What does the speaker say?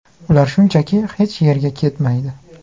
Ular shunchaki hech yerga ketmaydi.